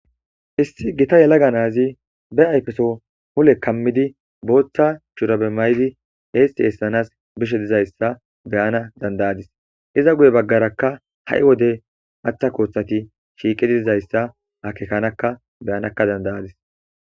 Issi gita yelaga na7az be ayifeso mule kamid botha shurabe mayid eesi esanas bishe de7izaysa be7ana danidayadis. Iza guye bagaraka ha7i wode matha kothet shiqid dizayisa akekanaka be7ana danidayadis.